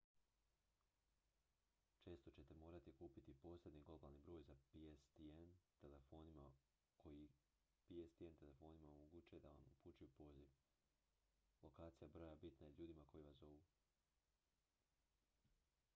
često ćete morati kupiti posebni globalni broj koji pstn telefonima omogućuje da vam upućuju poziv lokacija broja bitna je ljudima koji vas zovu